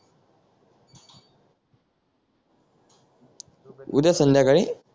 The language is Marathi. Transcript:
उद्या संध्याकाळी